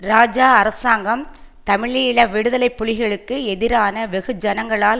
இராஜா அரசாங்கம் தமிழீழ விடுதலை புலிகளுக்கு எதிரான வெகு ஜனங்களால்